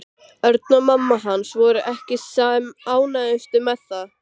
Örn og mamma hans voru ekki sem ánægðust með það.